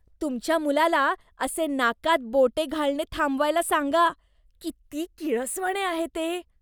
तुमच्या मुलाला असे नाकात बोटे घालणे थांबवायला सांगा. किती किळसवाणे आहे ते.